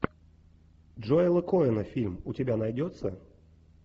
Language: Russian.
джоэла коэна фильм у тебя найдется